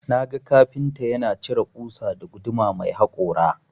Naga kafinta yana cire ƙusa da guduma mai hakora.